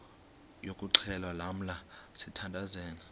yokuxhelwa lamla sithandazel